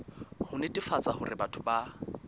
ho netefatsa hore batho ba